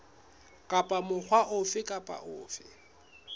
kapa mokga ofe kapa ofe